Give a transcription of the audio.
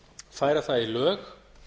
færa það í lög